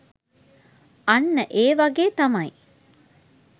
අන්න ඒ වගේ තමයි.